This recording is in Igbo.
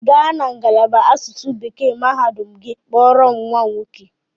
Gaa na ngalaba asụsụ ọzụzụ Bekee mahadum gị kpọrọ m nwa m!